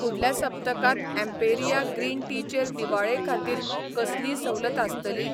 फुडल्या सप्तकांत Emperia green tea चेर दिवाळे खातीर कसलीय सवलत आसतली?